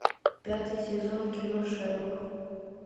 пятый сезон кино шерлок